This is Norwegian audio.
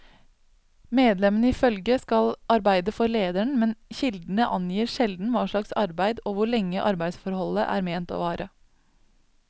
Medlemmene i følget skal arbeide for lederen, men kildene angir sjelden hva slags arbeid og hvor lenge arbeidsforholdet er ment å vare.